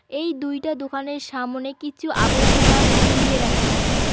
এই দুইটা দোকানের সামোনে কিছু আবর্জনা ফেলিয়ে রাখা আছে।